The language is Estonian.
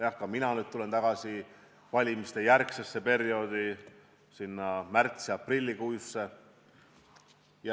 Jah, ka mina lähen nüüd tagasi valimistejärgsesse perioodi, sinna märtsi- ja aprillikuusse.